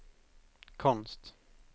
konst